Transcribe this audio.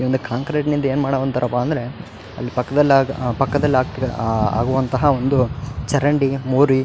ಒಂದು ಕಾಂಕ್ರೇಟ್ ನಲ್ಲಿ ಏನ್ ಮಾಡೊವಂತಾರ ಅಪ್ಪ ಅಂದ್ರ ಅಲ್ಲಿ ಪಕ್ಕದ್ದಲ್ಲಾಗ ಪಕ್ಕದ್ದಲ್ಲಾಗ್ತ್ ಆ ಆಗುವಂತಹ ಒಂದು ಲ್ಲಾಗ ಚರಂಡಿ ಮೋರಿ --